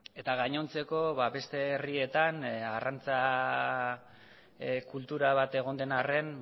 eta gainontzeko beste herrietan arrantza kultura bat egon den arren